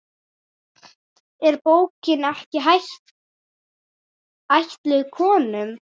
Er bókin ekki ætluð konum?